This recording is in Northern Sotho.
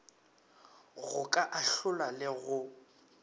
go ka ahlola le go